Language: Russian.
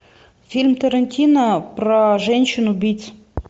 фильм тарантино про женщин убийц